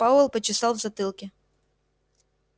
пауэлл почесал в затылке